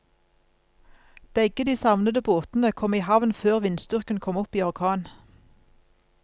Begge de savnede båtene kom i havn før vindstyrken kom opp i orkan.